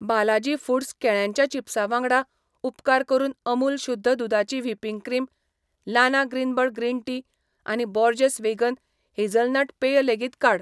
Balaji foods केळ्यांच्या चिप्सा वांगडा, उपकार करून अमूल शुध्द दुदाची व्हिपिंग क्रीम, लाना ग्रीनबर्ड ग्रीन टी आनी बोर्जेस वेगन हेझलनट पेय लेगीत काड.